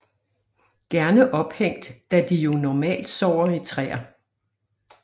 Gerne ophængt da de jo normalt sover i træer